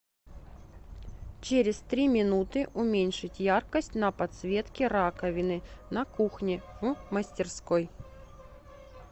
через три минуты уменьшить яркость на подсветке раковины на кухне в мастерской